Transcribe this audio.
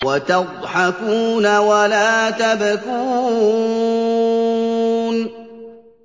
وَتَضْحَكُونَ وَلَا تَبْكُونَ